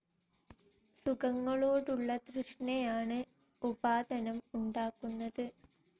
സുഖങ്ങളോടുള്ള തൃഷ്ണ യാണ് ഉപാദാനം ഉണ്ടാക്കുന്നത്.